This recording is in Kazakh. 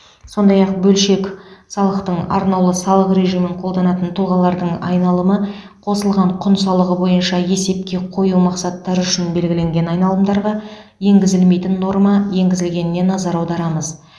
сондай ақ бөлшек салықтың арнаулы салық режимін қолданатын тұлғалардың айналымы қосылған құн салығы бойынша есепке қою мақсаттары үшін белгіленген айналымдарға енгізілмейтін норма енгізілгеніне назар аударамыз